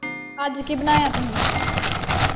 ਅੱਜ ਕੀ ਬਣਾਇਆ ਤੁਸੀਂ?